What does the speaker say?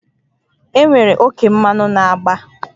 Enwere oke mmanụ na agba a